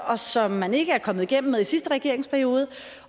og som man ikke er kommet igennem med i sidste regeringsperiode